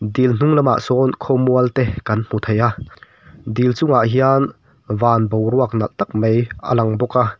dil hnung lamah sawn khawmual te kan hmu thei a dil chungah hian van boruak nalh tak mai a lang bawk a.